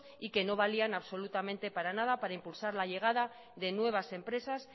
y que no valían absolutamente para nada para impulsar la llegada de nuevas empresas